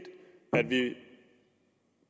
at vi